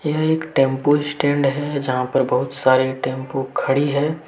यह एक tempo stand है जहां पर बहुत सारे टेंपू खड़ी हैं।